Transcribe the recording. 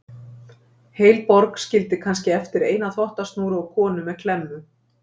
Heil borg skildi kannski eftir eina þvottasnúru og konu með klemmu.